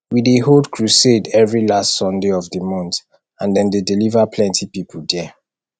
we dey hold crusade every last sunday of the month and dem dey deliver plenty people there